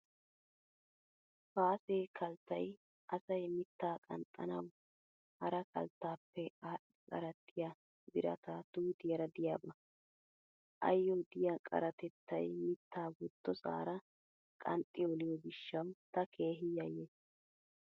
Paase kalttay asay mitta qanxxanawu hara kalttaappe aadhdhi qarattiya birata tuutiyara diyaba. Ayyo diya qaratettay mittaa wottosaara qanxxi oliyo gishshawu ta keehi yayyays.